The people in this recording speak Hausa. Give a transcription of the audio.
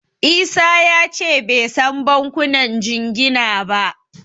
Isa ya ce bai san bankunan jingina ba.